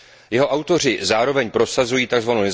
Jeho autoři zároveň prosazují tzv.